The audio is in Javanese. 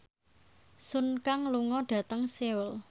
Sun Kang lunga dhateng Seoul